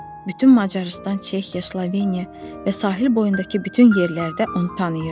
Bütün Macarıstan, Çexiya, Sloveniya və sahil boyundakı bütün yerlərdə onu tanıyırdılar.